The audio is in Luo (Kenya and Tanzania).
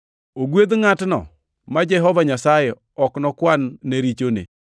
Ogwedh ngʼatno ma Jehova Nyasaye ok nokwan-ne richone.” + 4:8 \+xt Zab 32:1,2\+xt*